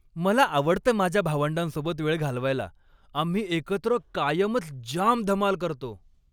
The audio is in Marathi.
मला आवडतं माझ्या भावंडांसोबत वेळ घालवायला. आम्ही एकत्र कायमच जाम धमाल करतो.